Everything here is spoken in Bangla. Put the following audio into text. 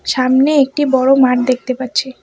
সামনে একটি বড় মাঠ দেখতে পাচ্ছি।